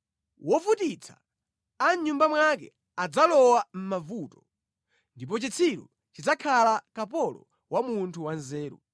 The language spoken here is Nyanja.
Wovutitsa a mʼnyumba mwake adzalowa mʼmavuto, ndipo chitsiru chidzakhala kapolo wa munthu wa nzeru.